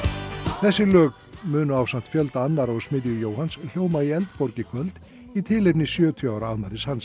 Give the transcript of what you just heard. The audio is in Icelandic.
þessi lög munu ásamt fjölda annarra úr smiðju Jóhanns hljóma í Eldborg í kvöld í tilefni sjötíu ára afmælis hans